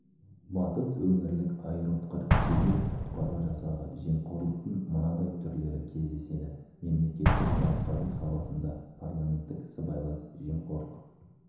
батыс өңірлік аэроұтқыр жедел құтқару жасағы жемқорлықтың мынадай түрлері кездеседі мемлекеттік басқару саласында парламенттік сыбайлас жемқорлық